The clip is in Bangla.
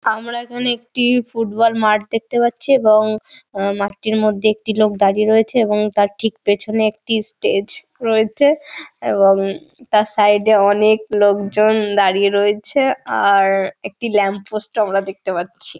আমরা এখানে একটি ফুটবল মাঠ দেখতে পাচ্ছি এবং আ- মাঠটির মধ্যে একটি লোক দাঁড়িয়ে রয়েছে এবং তার ঠিক পেছনে একটি স্টেজ রয়েছে এবং তার সাইড -এ অনেক লোকজন দাঁড়িয়ে রয়েছে আর একটি ল্যাম্পপোস্ট ও আমরা দেখতে পাচ্ছি।